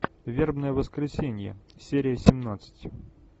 вербное воскресенье серия семнадцать